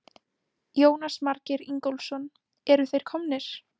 Jónas Margeir Ingólfsson: Eru þeir komnir?